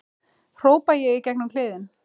hrópa ég í gegn um kliðinn.